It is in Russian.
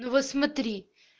ну вот смотри